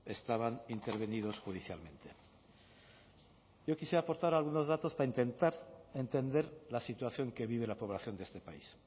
estaban intervenidos judicialmente yo quisiera aportar algunos datos para intentar entender la situación que vive la población de este país